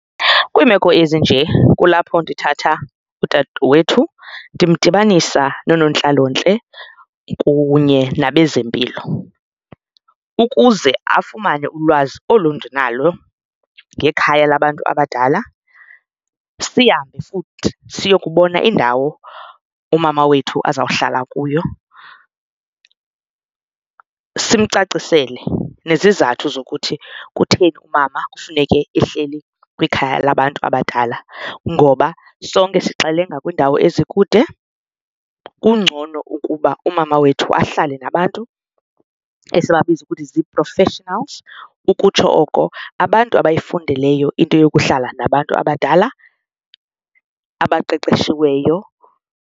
Kwiimeko ezinje kulapho ndithatha udadewethu ndimdibanisa noonontlalontle kunye nabezempilo ukuze afumane ulwazi olu ndinalo ngekhaya labantu abadala. Sihambe futhi siyokubona indawo umama wethu azawuhlala kuyo simcacisele nezizathu zokuthi kutheni umama kufuneke ehleli kwikhaya labantu abadala, ngoba sonke sixelenga kwiindawo ezikude. Kungcono ukuba umama wethu ahlale nabantu esibabiza ukuthi zii-professionals ukutsho oko abantu abayifundeleyo into yokuhlala nabantu abadala abaqeqeshiweyo.